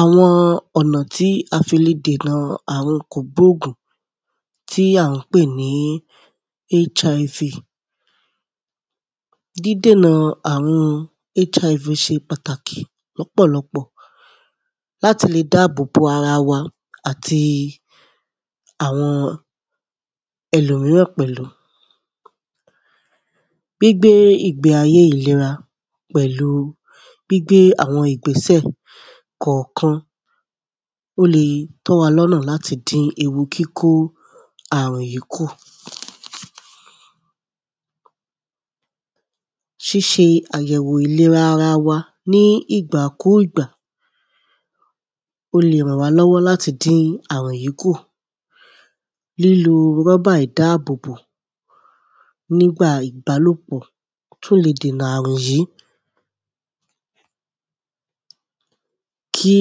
àwọn ọ̀nà tí a fi le dènà àrùn kògbóògùn tí à ń pè ní HIV dídẹ̀nà àrùn HIV se pàtàkì lọ́pọ̀lọpọ̀ láti le dábòbò ara wa àti àwọn ẹlòmíràn pẹ̀lú gbígbé ìgeb́ ayé ìlera pẹ̀lu gbígbé àwọn ìgbésẹ̀ kọ̀ọ̀kan ó le tọ́ wa lọ́nà láti dín ewu kíkó àrùn yìí kù ṣíṣe àyẹ̀wò ìlera ara wa ní ìgbà kú ìgbà ó le ràn wá lọ́wọ́ láti dín àrùn yìí kù lílo rọ́bà ìbábòbò nígbà ìbálòpọ̀ tún le dènà àrùn yìí kí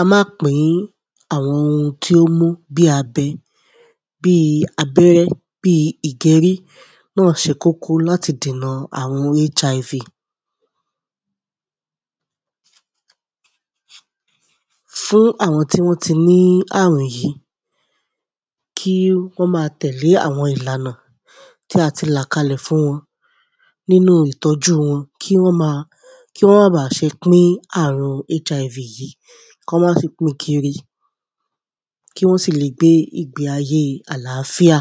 á má pìń àwọn ohun tí ó mú bíi abẹ bíi abẹ́rẹ́ bíi ìgerí náà se kókó láti dènà àrùn HIV fún àwọn tí wọ́m ti ní àwùn yìí kí wọ́n má tẹ̀lé àwọn ìlànà tí a ti là kalẹ̀ fún wọn nínú ìtọ́jú wọn kí wọ́n ma kí wọ́n mà bà se pín àrùn hiv yìí kán mà sí pín kiri kí wọ́ sì le gbé ìgbé ayé àlàfíà